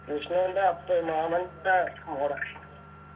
വിഷ്ണുൻ്റെ അപ്പൻ മാമൻ്റെ മോടെ